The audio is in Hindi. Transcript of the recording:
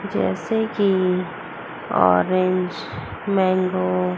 जैसे कि ऑरेंज मैंगो --